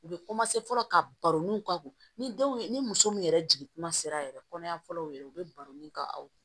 U bɛ fɔlɔ ka baronuw k'a kun ni denw ye ni muso min yɛrɛ jigi kuma sera yɛrɛ kɔnɔ ya fɔlɔ yɛrɛ u bɛ baroni ka